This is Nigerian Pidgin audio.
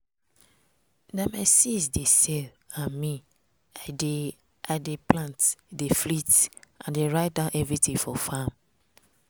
na my sis dey sell and me i dey i dey plant dey flit and dey write down everything for farm.